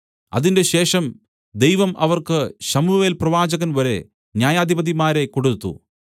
അതിന്‍റെശേഷം ദൈവം അവർക്ക് ശമൂവേൽ പ്രവാചകൻ വരെ ന്യായാധിപതിമാരെ കൊടുത്തു